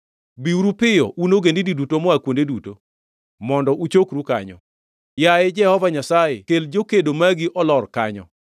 Biuru piyo, un ogendini duto moa kuonde duto, mondo uchokru kanyo. Yaye Jehova Nyasaye kel jokedo magi olor kanyo!